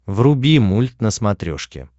вруби мульт на смотрешке